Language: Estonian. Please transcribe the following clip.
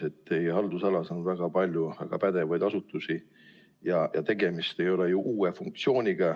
Teie haldusalas on väga palju väga pädevaid asutusi ja tegemist ei ole ju uue funktsiooniga.